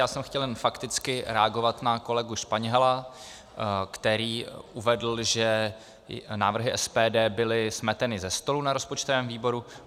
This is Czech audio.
Já jsem chtěl jenom fakticky reagovat na kolegu Španěla, který uvedl, že návrhy SPD byly smeteny ze stolu na rozpočtovém výboru.